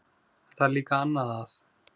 En það er líka annað að.